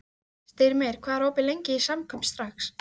Styrmir, hvað er opið lengi í Samkaup Strax?